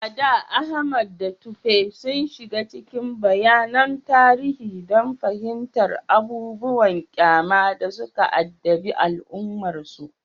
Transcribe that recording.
A da, Ahmad da Tope sun shiga cikin bayanan tarihi don fahimtar abubuwan ƙyama da suka addabi al’ummarsu.